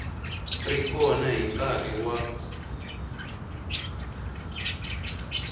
ri kona hi nkarhi wa